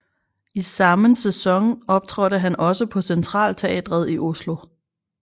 I sammen sæson optrådte han også på Centralteatret i Oslo